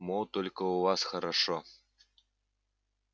мол только у вас хорошо